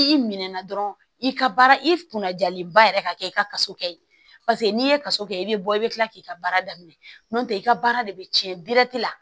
I minɛn na dɔrɔn i ka baara i kunna jalenba yɛrɛ ka kɛ i ka kaso kɛ ye paseke n'i ye kasa kɛ i bɛ bɔ i bɛ kila k'i ka baara daminɛ n'o tɛ i ka baara de bɛ tiɲɛ la